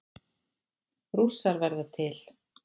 Rússar verða til